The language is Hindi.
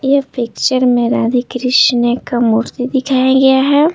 ये पिक्चर में राधे कृष्ण का मूर्ति दिखाया गया है।